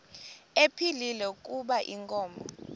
ephilile kuba inkomo